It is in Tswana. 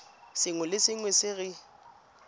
sengwe le sengwe se re